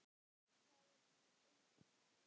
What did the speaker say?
Það er nú einmitt málið.